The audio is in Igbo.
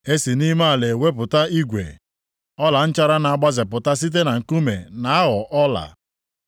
E si nʼime ala ewepụta igwe, ọlanchara na-agbazepụta site nkume na-aghọ ọla.